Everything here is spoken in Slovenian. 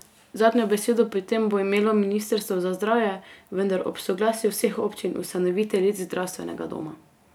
Zadnjo besedo pri tem bo imelo ministrstvo za zdravje, vendar ob soglasju vseh občin ustanoviteljic zdravstvenega doma.